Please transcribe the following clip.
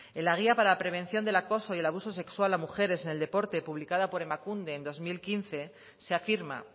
en la guía para prevención del acoso y el abuso sexual a mujeres en el deporte publicada por emakunde en dos mil quince se afirma